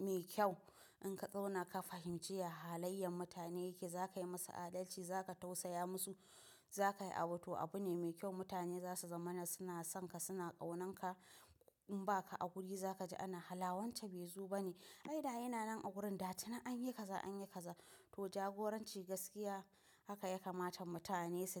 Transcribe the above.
mai kyau. In ka zauna ka fahimci ya halayen mutane yake, za ka yi musu adalci, za ka tausaya musu, za ka yi abu. To abu ne mai kyau mutane za su zama na suna son ka, suna ƙaunan ka. In ba ka a wuri za ka ji ana, "Hala, wance bai zo ba ne? Ai dai yana nan a wurin, dattuni an yi kaza, an yi kaza." To jagoranci gaskiya haka ya kamata mutane su ji.